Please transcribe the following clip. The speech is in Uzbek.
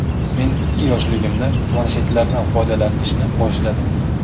Men ikki yoshligimda planshetlardan foydalanishni boshladim.